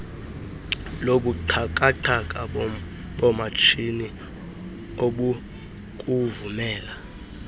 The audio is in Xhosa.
lobuxhakaxhaka bomatshini obukuvumela